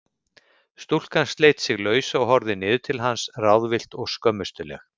Stúlkan sleit sig lausa og horfði niður til hans ráðvillt og skömmustuleg.